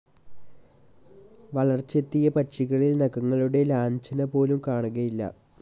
വളർച്ചയെത്തിയ പക്ഷികളിൽ നഖങ്ങളുടെ ലാഞ്ചനപോലും കാണുകയില്ല.